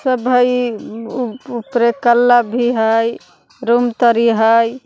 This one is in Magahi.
सब हई उपरे कला भी हई रूम तरी हई।